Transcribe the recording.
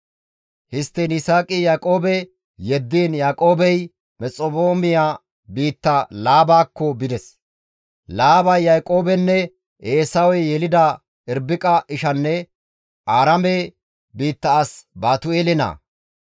Histtiin Yisaaqi Yaaqoobe yeddiin Yaaqoobey Mesphexoomiya biitta Laabakko bides. Laabay Yaaqoobenne Eesawe yelida Irbiqas ishanne Aaraame biitta as Baatu7eele naa.